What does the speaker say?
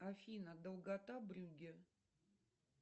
афина долгота брюгге